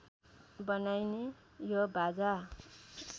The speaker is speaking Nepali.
बनाइने यो बाजा